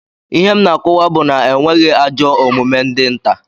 Ihe m na-akọwa bụ na enweghị ajọ omume dị nta